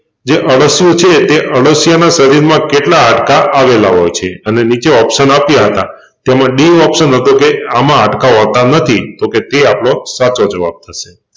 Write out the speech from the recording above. જે અળશિયું છે તે અળસિયા નાં શરીરમાં કેટલા હાડકાં આવેલા હોય છે અને નીચે ઓપ્શન આપ્યા હતા તેમાં ડી હતો કે આમાં હાડકાં હોતા નથી તોકે તે આપણો સાચો જવાબ